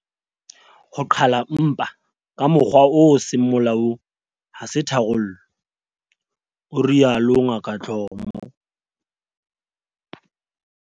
"Ho qhala mpa ka mokgwa o seng molaong ha se tharollo," o rialo Ngaka Dlomo.